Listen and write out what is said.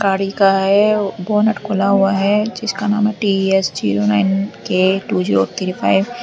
गाड़ी का है बोनट खुला हुआ है जिसका नाम T S zero nine K two zero three five.